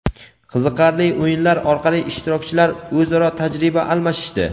Qiziqarli o‘yinlar orqali ishtirokchilar o‘zaro tajriba almashishdi.